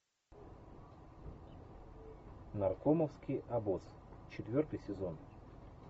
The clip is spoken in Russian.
наркомовский обоз четвертый сезон